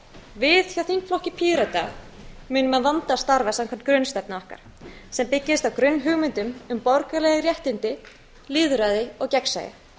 við hjá þingflokki pírata munum að vanda starfa samkvæmt grunnstefnu okkar sem byggist á grunnhugmyndum um borgaraleg réttindi lýðræði og gegnsæi